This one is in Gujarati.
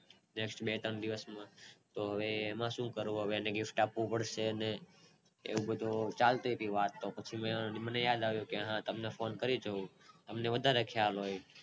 guest બે ત્રણ દિવસ તો હવે એમાં શું કરવું હવે એને gift આપવું પડશે અને એવી બધી શાંતિ થી વાત કરીયે ના પછી મને યાદ આવ્યું કે હા તમને ફોને કરી જોવ તમને વધારે ખ્યાલ હોય